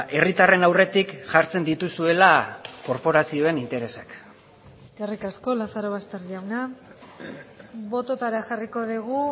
herritarren aurretik jartzen dituzuela korporazioen interesak eskerrik asko lazarobaster jauna bototara jarriko dugu